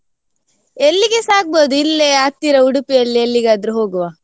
ಎಲ್ಲಿಗೆಸ ಆಗ್ಬೋದು ಇಲ್ಲೇ ಹತ್ತಿರ Udupi ಯಲ್ಲಿ ಎಲ್ಲಿಗಾದ್ರೂ ಹೋಗುವ.